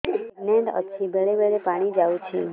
pregnant ଅଛି ବେଳେ ବେଳେ ପାଣି ଯାଉଛି